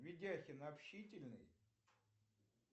видяхин общительный